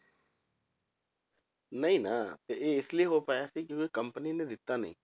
ਨਹੀਂ ਨਾ ਤੇ ਇਹ ਇਸ ਲਈ ਹੋ ਪਾਇਆ ਸੀ ਕਿਉਂਕਿ company ਨੇ ਦਿੱਤਾ ਨੀ।